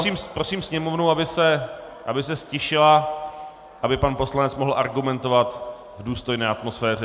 Já prosím Sněmovnu, aby se ztišila, aby pan poslanec mohl argumentovat v důstojné atmosféře.